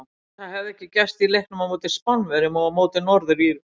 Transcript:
Það hafði ekki gerst í leiknum á móti Spánverjum og á móti Norður Írum.